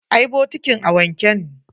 Eh, bokitin a wanke ne.